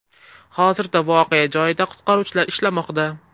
Hozirda voqea joyida qutqaruvchilar ishlamoqda.